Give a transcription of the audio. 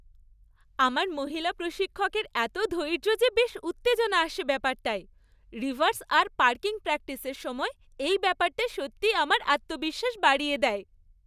আমার মহিলা প্রশিক্ষকের এত ধৈর্য যে বেশ উত্তেজনা আসে ব্যাপারটায়, রিভার্স আর পার্কিং প্র্যাকটিসের সময় এই ব্যাপারটা সত্যি আমার আত্মবিশ্বাস বাড়িয়ে দেয়।